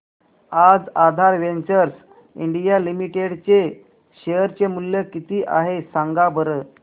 आज Aadhaar ventures India limited चे share चे मूल्य किती आहे सांगा बरं